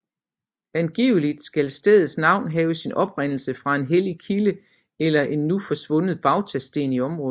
Angiveligt skal stedets navn have sin oprindelse fra en hellig kilde eller en nu forsvundet bautasten i området